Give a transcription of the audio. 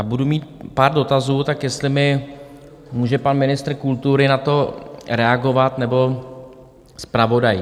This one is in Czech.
A budu mít pár dotazů, tak jestli mi může pan ministr kultury na to reagovat nebo zpravodaj.